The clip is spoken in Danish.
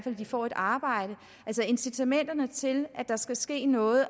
at de får et arbejde altså incitamenterne til at der skal ske noget